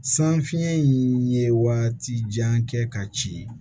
San fiɲɛ in ye waati jan kɛ ka ci